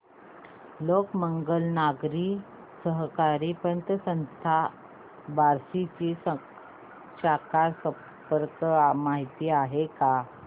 लोकमंगल नागरी सहकारी पतसंस्था बार्शी ची शाखा संपर्क माहिती काय आहे